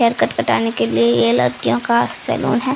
Hair cut कटाने के लिए ये लड़कियों का सैलून है।